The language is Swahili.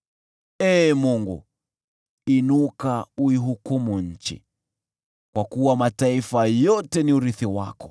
Ee Mungu, inuka uihukumu nchi, kwa kuwa mataifa yote ni urithi wako.